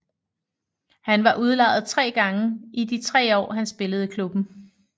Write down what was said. Han var udlejet 3 gange i de 3 år han spillede i klubben